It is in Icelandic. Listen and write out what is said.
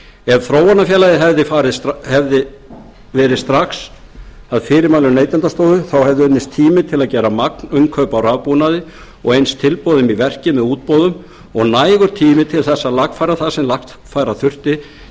ef þróunarfélagið hefði farið strax að fyrirmælum neytendastofu þá hefði unnist tími til að gera magninnkaup á rafbúnaði og eins tilboðum í verkið með útboðum og nægur tími til að lagfæra það sem lagfæra þurfti